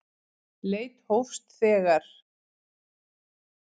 Leit hófst þegar